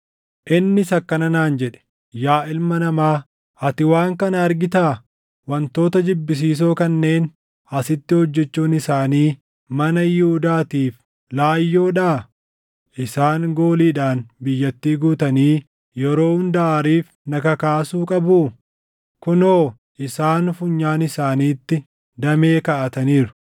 Innis akkana naan jedhe; “Yaa ilma namaa, ati waan kana argitaa? Wantoota jibbisiisoo kanneen asitti hojjechuun isaanii mana Yihuudaatiif laayyoodhaa? Isaan gooliidhaan biyyattii guutanii yeroo hunda aariif na kakaasuu qabuu? Kunoo isaan funyaan isaaniitti damee kaaʼataniiru!